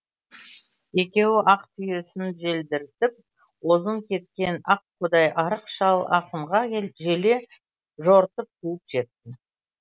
екеуі ақ түйесін желдіртіп озын кеткен аққудай арық шал ахунға желе жортып қуып жетті